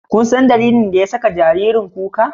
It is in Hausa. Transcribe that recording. Kunsan dalilin da ya saka jaririn kuka?